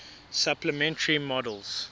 supplementary models